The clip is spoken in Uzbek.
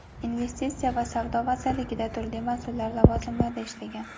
investitsiya va savdo vazirligida turli mas’ul lavozimlarda ishlagan.